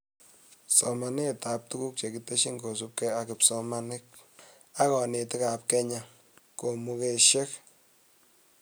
Somanetab tuguk chekitesyi kosubke ak kipsomaninik ak konetikab Kenya komugashek